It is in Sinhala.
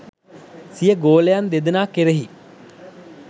සිය ගෝලයන් දෙදෙනා කෙරෙහි